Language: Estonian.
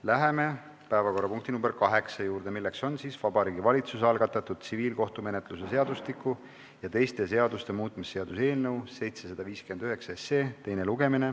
Läheme päevakorrapunkti nr 8 juurde, milleks on Vabariigi Valitsuse algatatud tsiviilkohtumenetluse seadustiku ja teiste seaduste muutmise seaduse eelnõu 759 teine lugemine.